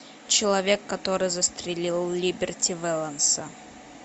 человек который застрелил либерти вэланса